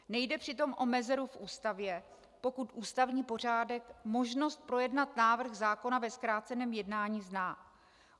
Nejde přitom o mezeru v Ústavě, pokud ústavní pořádek možnost projednat návrh zákona ve zkráceném jednání zná.